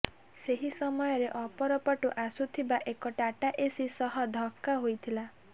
ସେହି ସମୟରେ ଅପରପଟୁ ଆସୁଥିବା ଏକ ଟାଟା ଏସି ସହ ଧକ୍କା ହୋଇଥିଲା